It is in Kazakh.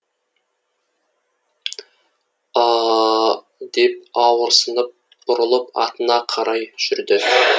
ы ы ы деп ауырсынып бұрылып атына қарай жүрді